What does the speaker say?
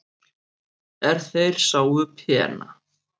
er þeir sáu pena